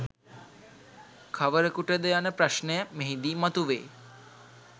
කවරකුටද යන ප්‍රශ්නය මෙහිදී මතුවේ.